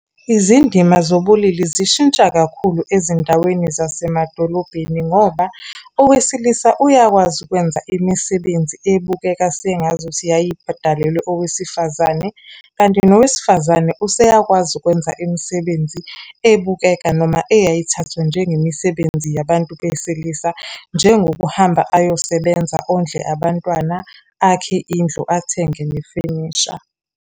Izindima zobulili zishintsha kakhulu ezindaweni zasemadolobheni ngoba owesilisa uyakwazi ukwenza imisebenzi ebukeka sengazuthi yayidalelwe owesifazane. Kanti nowesifazane useyakwazi ukwenza imisebenzi ebukeka noma eyayithathwa njengemisebenzi yabantu besilisa. Njengokuhamba ayosebenza ondle abantwana, akhe indlu, athenge nefenisha.